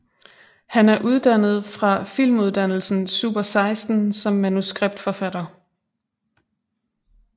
Han er uddannet fra filmuddannelsen Super16 som manuskriptforfatter